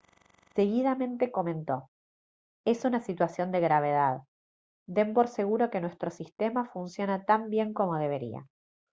seguidamente comentó: «es una situación de gravedad. den por seguro que nuestro sistema funciona tan bien como debería»